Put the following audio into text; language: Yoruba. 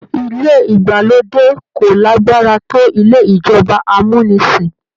Ilé ìgbàlódé kò lágbára tó ilé ìjọba amúnisìn.